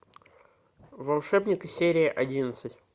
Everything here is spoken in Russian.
волшебники серия одиннадцать